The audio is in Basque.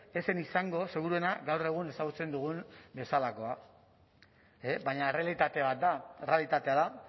ez zen izango seguruena gaur egun ezagutzen dugun bezalakoa baina errealitate bat da errealitatea da